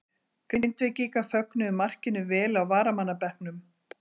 Grindvíkingar fögnuðu markinu vel á varamannabekknum.